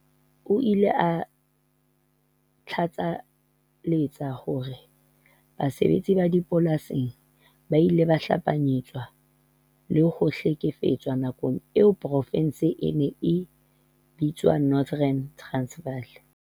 O ile a tlatsaletsa ka hore basebetsi ba dipolasing ba ile ba hanyapetswa le ho hle-kefetswa nakong eo profense ena e neng e bitswa Northern Transvaal